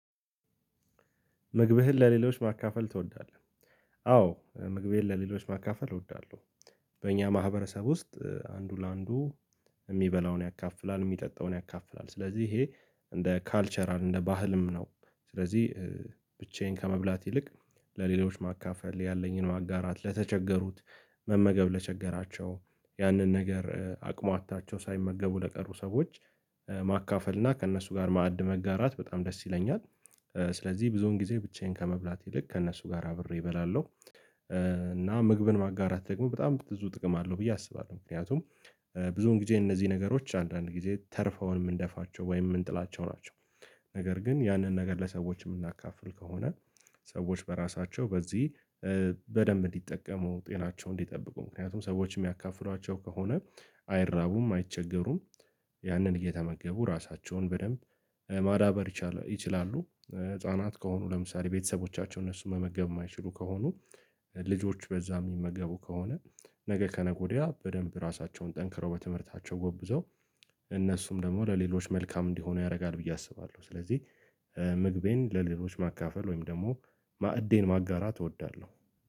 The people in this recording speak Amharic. ምግብህን ለሌሎች ማካፈል ትወዳለህ አዎ ምግቤን ለሌሎች ማካፈል እወዳለሁ በእኛ ማህበረሰብ ውስጥ አንዱ ለአንዱ የሚበላውን ያካፍላል የሚጠጣውን ያካፍላል ስለዚህ ይሄ እንደ ካልቸራል እንደ ባህልም ነው። ስለዚህ ብቻዬን ከመብላት ይልቅ ለሌሎች ማካፈል ያለኝን ማጋራት ለተቸገሩት መመገብ ለቸገራቸው ያንን ነገር አቅሟታቸው ሳይመገቡ ለቀሩ ሰዎች ማካፈል እና ከእነሱ ጋር ማዕድ መጋራት በጣም ደስ ይለኛል ስለዚህ ብዙውን ጊዜ ብቻዬን ከመብላት ይልቅ ከእነሱ ጋር አብሬ እበላለሁ። እና ምግብን ማጋራት ደግሞ በጣም ብዙ ጥቅም አለው ብዬ አስባለሁ። ምክንያቱም ብዙውን ጊዜ እነዚህ ነገሮች አንዳንድ ጊዜ ተርፈውን የምንደፋቸው ወይም የምንጥላቸው ናቸው። ነገር ግን ያንን ነገር ለሰዎች የምናካፍል ከሆነ ሰዎች በራሳቸው በዚህ በደንብ እንዲጠቀሙ፣ ጤናቸውን እንዲጠብቁ ምክንያቱም ሰዎች የሚያካፍሏቸው ከሆነ አይራቡም፣ አይቸገሩም። ያንን እየተመገቡ ራሳቸውን በደንብ ማዳበር ይችላሉ ህፃናት ከሆኑ ለምሳሌ ቤተሰቦቻቸው እነሱን መመገብ የማይችሉ ከሆኑ ልጆች በዛ የሚመገቡ ከሆነ ነገ ከነገ ወዲያ በደንብ ራሳቸውን ጠንክረው በትምህርታቸው ጎብዘው እነሱም ደግሞ ለሌሎች መልካም እንዲሆኑ ያደርጋል ብዬ አስባለሁ። ስለዚህ ምግቤን ለሌሎች ማካፈል ወይም ደግሞ ማዕዴን ማጋራት እወዳለሁ።